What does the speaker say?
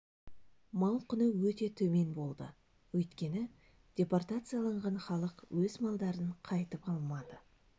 мал құны өте төмен болды өйткені депортацияланған халық өз малдарын қайтып алмады